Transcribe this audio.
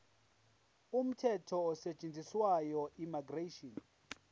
umthetho osetshenziswayo immigration